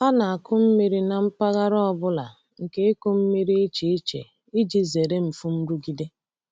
A na-akụ mmiri na mpaghara ọ bụla nke ịkụ mmiri iche iche iji zere mfu nrụgide.